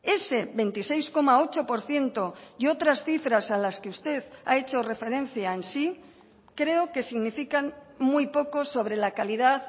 ese veintiséis coma ocho por ciento y otras cifras a las que usted ha hecho referencia en sí creo que significan muy poco sobre la calidad